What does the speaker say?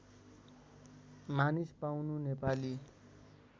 मानिस पाउनु नेपाली